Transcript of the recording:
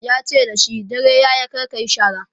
yace da shi "dare yayi kar kayi shara!"